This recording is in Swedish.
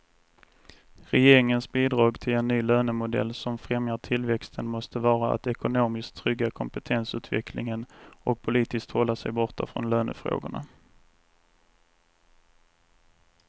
Regeringens bidrag till en ny lönemodell som främjar tillväxten måste vara att ekonomiskt trygga kompetensutvecklingen och politiskt hålla sig borta från lönefrågorna.